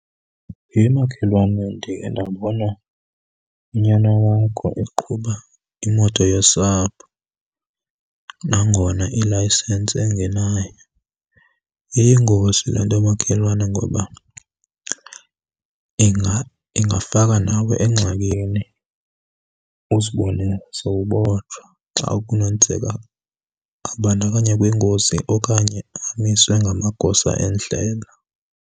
He makhelwane, ndikhe ndabona unyana wakho eqhuba imoto yosapho nangona ilayisensi engenayo. Iyingozi le nto makhelwane, ngoba ingafaka nawe engxakini uzibone sowubotshwa xa kunokwenzeka abandakanye kwingozi okanye amiswe ngamagosa endlela.